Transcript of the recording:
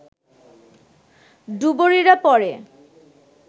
ডুবুরিরা পরে